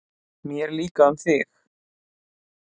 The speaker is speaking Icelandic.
Mér líka um þig.